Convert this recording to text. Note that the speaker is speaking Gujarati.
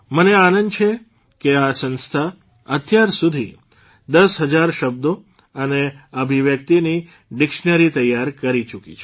મને આનંદ છે કે આ સંસ્થા અત્યારસુધી ૧૦ હજાર શબ્દો અને અભિવ્યક્તિની ડીક્ષનેરી તૈયાર કરી ચૂકી છે